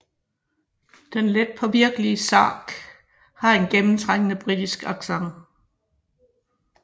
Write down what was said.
Den letpåvirkelige Sark har en gennemtrængende britisk accent